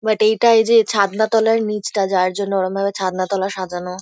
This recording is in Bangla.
বাট এইটায় যে ছাদনাতলার নীচটা যার জন্য ওরমভাবে ছাদনাতলা সাজানো।